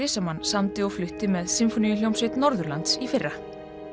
sem hann samdi og flutti með sinfóníuhljómsveit Norðurlands í fyrra